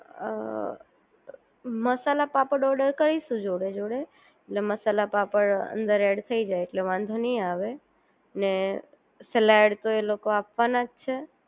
અ masala papad order કરીશું જોડે જોડે એટલે મસાલા પાપડ અંદર એડ થઈ જાય એટલે વાંધો નહીં આવે અને સલાડ તો એ લોકો આપવાના જ છે